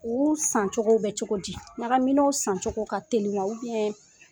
Olu sancogo bɛ cogo di? Ɲagaminaw sancogo ka teli wan?